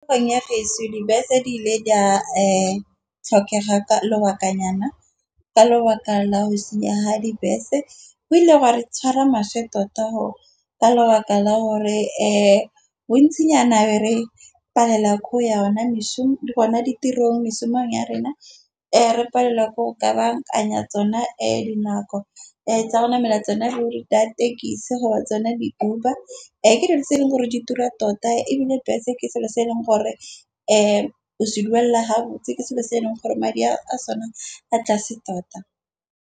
Tikologong ya geso dibese di ile di tlhokega ka lobakanyana ka lobaka la go senyaga ga dibese. Go ile ga re tshwara maswe tota gore ka lebaka la gore bontsinyana ne re palelwa ke ya ona mešomo tsona. Ditirong ya rona re ke go ka bankanya tsona dinako tsa rona namela tsona ditekisi gore tsona di-Uber. Ke dilo tse e leng gore ditura tota ebile bese ke selo se e leng gore o se duelela ha botse ke selo se e leng gore madi a sone a tlase tota.